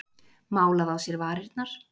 Málað á sér varirnar.